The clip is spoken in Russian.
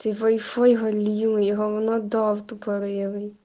вай фай галимый говнодав тупорылый